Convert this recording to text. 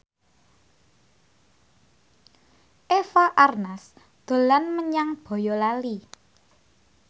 Eva Arnaz dolan menyang Boyolali